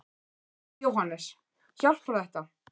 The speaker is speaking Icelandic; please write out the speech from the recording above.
Jóhannes: Hjálpar þetta?